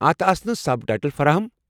اتھ اسن subtitle فراہم ؟